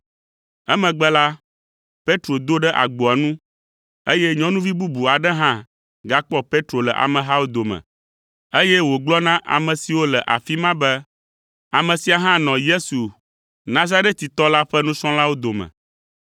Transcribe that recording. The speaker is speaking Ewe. Emegbe la, Petro do ɖe agboa nu, eye nyɔnuvi bubu aɖe hã gakpɔ Petro le amehawo dome, eye wògblɔ na ame siwo le afi ma be, “Ame sia hã nɔ Yesu Nazaretitɔ la ƒe nusrɔ̃lawo dome.”